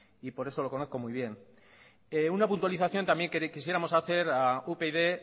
y por eso lo conozco muy bien una puntualización también quisiéramos hacer a upyd